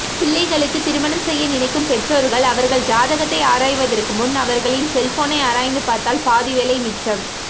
பிள்ளைகளுக்கு திருமணம்செய்ய நினைக்கும் பெற்றோர்கள் அவர்கள் ஜாதகத்தை ஆராய்வதற்குமுன் அவர்களின் செல்போனை ஆராய்ந்து பார்த்தால் பாதிவேலை மிச்சம்